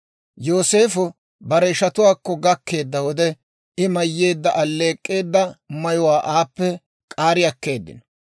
Yooseefo bare ishatuwaakko gakkeedda wode, I mayyeedda alleek'k'eedda mayuwaa aappe k'aari akkeeddino;